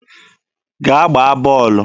Gaa gbaa bọọlụ!